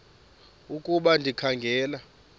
ukuba ndikha ngela